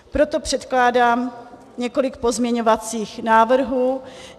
Proto předkládám několik pozměňovacích návrhů.